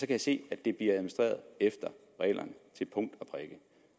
kan se at det bliver administreret efter reglerne til punkt